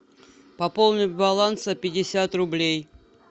пополнить баланс на пятьдесят рублей